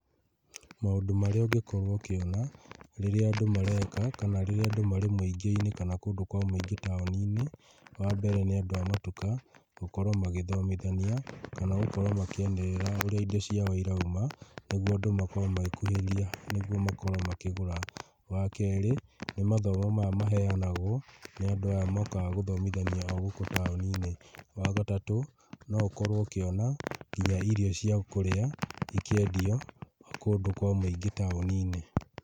Maũndũ marĩa ũngĩkorwo ũkĩona rĩrĩa andũ mareka kana rĩrĩa andũ marĩ mũingĩ-inĩ kana kũndũ kwa mũingĩ taũni-inĩ, wa mbere nĩ andũ a matuka gũkorwo magĩthomithania, kana gũkorwo makĩanĩrĩra ũrĩa indo ciao irauma, nĩguo andũ makorwo magĩkuhĩrĩria nĩguo makorwo makĩgũra. Wa kerĩ, nĩ mathomo maya maheanagwo nĩ andũ aya mokaga gũthomithania gũkũ taũni-inĩ. Wa gatatũ, no ũkorwo ũkĩona nginya irio cia kũrĩa ikĩendio kũndũ kwa mũingĩ taũni-inĩ.